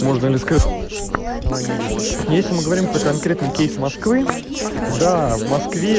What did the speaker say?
можно ли распознавание лиц если мы говорим про конкретный с москвы до